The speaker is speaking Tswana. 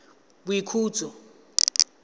boikhutso